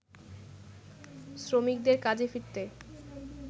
শ্রমিকদের কাজে ফিরতে